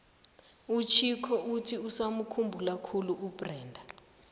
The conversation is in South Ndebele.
uchicco uthi usamukhumbula khulu ubrenda